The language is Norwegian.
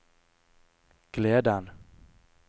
gleden